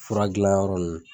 Fura gilanyɔrɔ nunnu.